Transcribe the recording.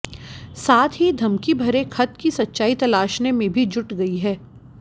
साथ ही धमकी भरे खत्त की सच्चाई तलाशने में भी जुट गई है